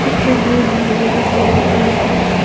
इस तस्वीर में बहुत सारा भीड़ है।